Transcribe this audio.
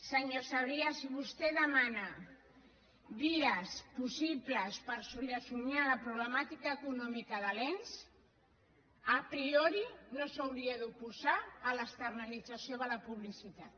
senyor sabrià si vostè demana vies possibles per solucionar la problemàtica econòmica de l’ens a priorino s’hauria d’oposar a l’externalització de la publicitat